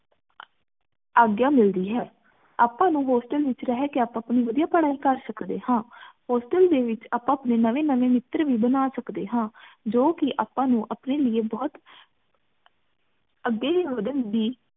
ਆਗਿਆ ਮਿਲਦੀ ਹੈ ਆਪਾਂ ਨੂੰ hostel ਵਿੱਚ ਰਹ ਕੇ ਆਪਾਂ ਅਪਣੀ ਵਧਿਆ ਪੜਾਈ ਕਰ ਸਕਦੇ ਹਾਂ hostel ਦੇ ਵਿੱਚ ਆਪਾਂ ਅਪਣੇ ਨਵੇਂ ਨਵੇਂ ਮਿੱਤਰ ਵੀ ਬਣਾ ਸਕਦੇ ਹਾਂ ਜੋ ਕਿ ਆਪਾਂ ਨੂੰ ਅਪਨੇ ਲਇ ਬੋਹਤ ਅੱਗੇ ਵਧਨ ਦੀ